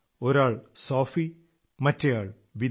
ഒരാൾ സോഫി മറ്റയാൾ വിദാ